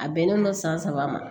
A bɛnnen don san saba ma